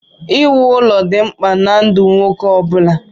Iwu ụlọ dị mkpa na ndụ nwoke ọ bụla.